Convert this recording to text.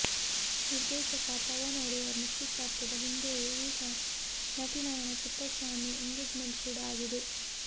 ನಿರ್ದೇಶಕ ಪವನ್ ಓಡೆಯರ್ ನಿಶ್ಚಿತಾರ್ಥದ ಹಿಂದೆಯೇ ಈಗ ನಟಿ ನಯನ ಪುಟ್ಟಸ್ವಾಮಿ ಎಂಗೇಜ್ ಮೆಂಟ್ ಕೂಡ ಆಗಿದೆ